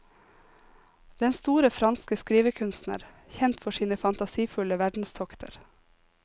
Den store franske skrivekunstner, kjent for sine fantasifulle verdenstokter.